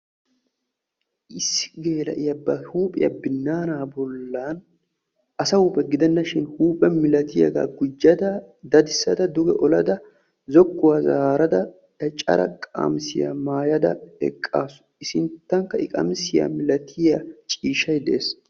issi geela'iya ba huuphiya binnaanaa bollan asa huuphe gidenna shin huuphe milatiyaagaa gujjada dadissada guyye olada zokkuwa zaarada caccara qamisiya maayada eqqaasu. i sinttankka i qamisiya milatiya ciishshay de'es.